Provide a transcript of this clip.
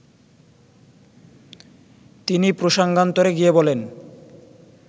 তিনি প্রসঙ্গান্তরে গিয়ে বলেন